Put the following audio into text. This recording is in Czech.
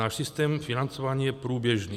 Náš systém financování je průběžný.